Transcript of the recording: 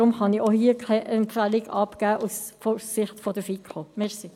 Deshalb kann ich auch hierzu keine Empfehlung aus Sicht der FiKo abgeben.